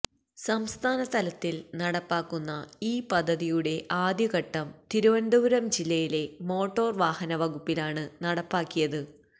സംസ്ഥാനതലത്തില് നടപ്പാക്കുന്ന ഈ പദ്ധതിയുടെ ആദ്യഘട്ടം തിരുവനന്തപുരം ജില്ലയിലെ മോട്ടോര് വാഹന വകുപ്പിലാണ് നടപ്പാക്കിയത്